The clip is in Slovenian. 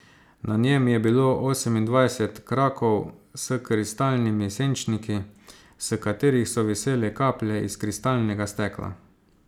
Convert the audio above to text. Na njem je bilo osemindvajset krakov s kristalnimi senčniki, s katerih so visele kaplje iz kristalnega stekla.